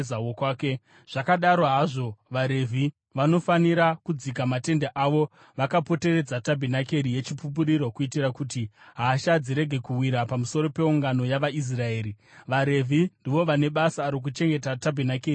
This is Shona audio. Zvakadaro hazvo, vaRevhi, vanofanira kudzika matende avo vakapoteredza tabhenakeri yeChipupuriro kuitira kuti hasha dzirege kuwira pamusoro peungano yavaIsraeri. VaRevhi ndivo vane basa rokuchengeta tabhenakeri yeChipupuriro.”